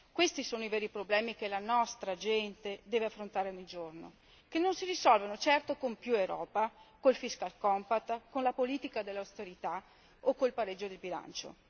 Questi sono i veri problemi che la nostra gente deve affrontare ogni giorno, che non si risolvono certo con più Europa, con il fiscal compact con la politica dell'austerità o col pareggio di bilancio.